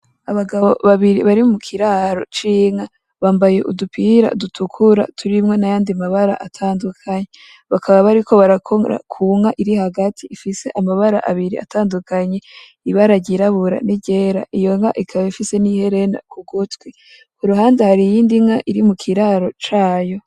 Abagabo babiri bari mu kiraro c'inka, bambaye udupira dutukura turimwo nayandi mabara atandukanye, bakaba bariko barakora ku nka iri hagati ifise amabara abiri atandukanye ibara ryirabura n'iryera iyo nka ikaba ifise n'iherena ku gutwi, ku ruhande hari iyindi nka iri mu kiraro cayo.